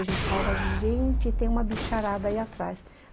A gente falava, gente, tem uma bicharada aí atrás.